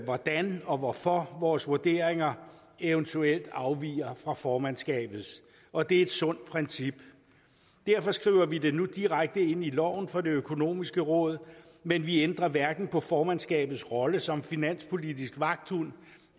hvordan og hvorfor vores vurderinger eventuelt afviger fra formandskabets og det er et sundt princip derfor skriver vi det nu direkte ind i loven for det økonomiske råd men vi ændrer hverken på formandskabets rolle som finanspolitisk vagthund